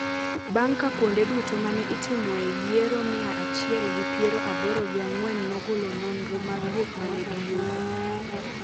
bang’ ka kuonde duto ma ne itimoe yiero mia achiel gi piero aboro gi ang'wen nogolo nonro mag gik ma ne giyudo.